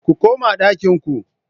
Ku koma ɗakin ku